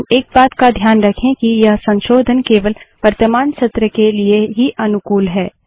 लेकिन एक बात का ध्यान रखें कि यह संशोधन केवल वर्तमान सत्र के लिए ही अनुकूल हैं